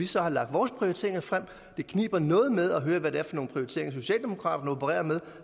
så lagt vores prioriteringer frem det kniber noget med at høre hvad det er for nogle prioriteringer socialdemokraterne opererer med